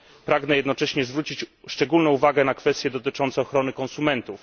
Pragnę jednocześnie zwrócić szczególną uwagę na kwestie dotyczące ochrony konsumentów.